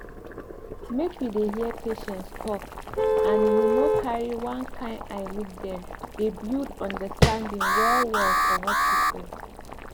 make you dey hear patients talk and you no carry one kind eye look dem dey build understanding well well for hospital